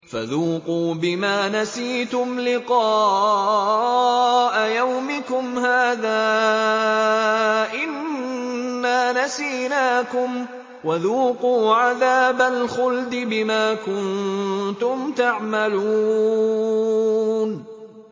فَذُوقُوا بِمَا نَسِيتُمْ لِقَاءَ يَوْمِكُمْ هَٰذَا إِنَّا نَسِينَاكُمْ ۖ وَذُوقُوا عَذَابَ الْخُلْدِ بِمَا كُنتُمْ تَعْمَلُونَ